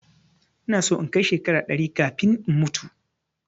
Ina so in kai shekara ɗari kafin in mutu